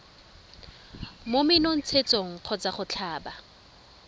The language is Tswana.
mo menontshetsong kgotsa go tlhaba